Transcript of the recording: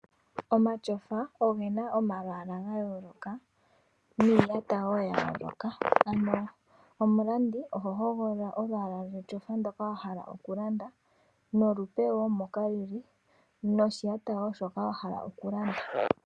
Omatyofa ogena omalwaala ga yooloka niiyata woo ya yooloka, ano omulandi oho hogolola olwaala lwetyofa ndoka wahala okulanda, nolupe moko lili, noshiyata woo shoka wahala okulanda.